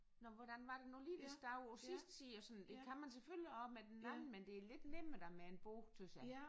Nåh hvordan var det nu lige det stod på sidste side og sådan det kan man selvfølgelig også med den anden men det er lidt nemmere da med en bog tys jeg